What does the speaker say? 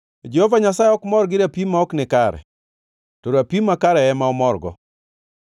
Jehova Nyasaye ok mor gi rapim ma ok nikare, to rapim makare ema omorgo.